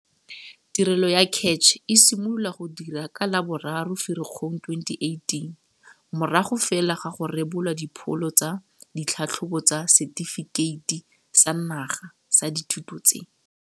Tirelo ya CACH e simolola go dira ka la bo 3 Ferikgong 2018, morago fela ga go rebolwa dipholo tsa ditlhatlhobo tsa Setefikeiti sa Naga sa Dithuto tse.